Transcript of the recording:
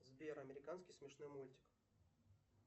сбер американский смешной мультик